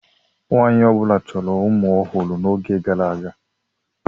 Nwaanyị ọ bụla chọrọ ụmụ ọhụrụ n'oge gara aga.